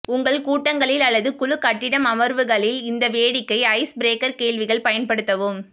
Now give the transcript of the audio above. உங்கள் கூட்டங்களில் அல்லது குழு கட்டிடம் அமர்வுகளில் இந்த வேடிக்கை ஐஸ் பிரேக்கர் கேள்விகள் பயன்படுத்தவும்